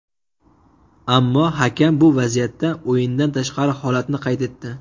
Ammo hakam bu vaziyatda o‘yindan tashqari holatni qayd etdi.